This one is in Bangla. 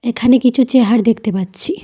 এখানে কিছু চেহার দেখতে পাচ্ছি।